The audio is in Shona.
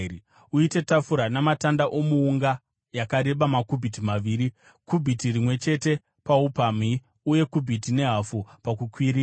“Uite tafura namatanda omuunga yakareba makubhiti maviri , kubhiti rimwe chete paupamhi uye kubhiti nehafu pakukwirira.